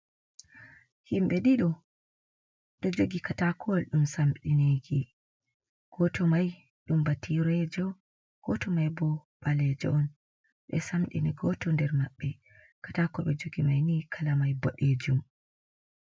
Himɓɓe ɗiɗo ɗo jogi katakowal ɗum samdineki, goto mai ɗum bature jo, goto mai bo ɓalejo on ɓe samɗini goto nder maɓɓe katako ɓe jogi mai ni kala mai boɗejum.